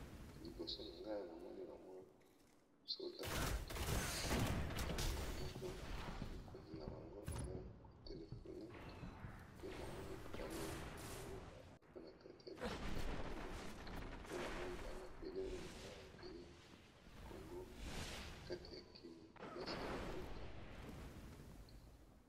Liboso na ngai nazali komona mapinga ya ekolo bazali kotambola na nzela